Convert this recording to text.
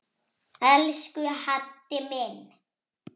Elsku Haddi minn.